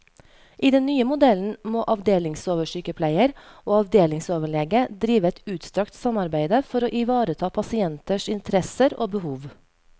I den nye modellen må avdelingsoversykepleier og avdelingsoverlege drive et utstrakt samarbeide for å ivareta pasienters interesser og behov.